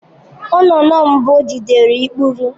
Nnụnụ mbụ jidere ikpuru.